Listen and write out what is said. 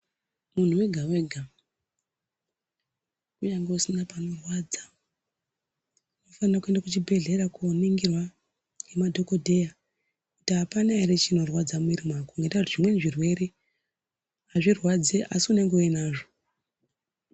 Muntu wega wega unyazi usina panorwadza unofana kuenda kuchibhedhlera koningirwa nemadhokodheya kuti apana ere chinorwadza mumwiri mako ngenda yekuti zvimweni zvirwere azvirwadzi asi unenge uinazvo.